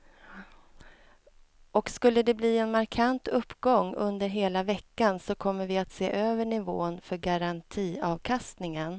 Och skulle de bli en markant uppgång under hela veckan så kommer vi att se över nivån för garantiavkastningen.